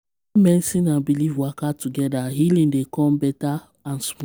medicine and belief waka together healing dey come better and smooth.